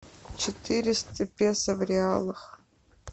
четыреста песо в реалах